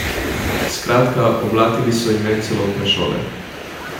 Skratka, oblatili so ime celotne šole.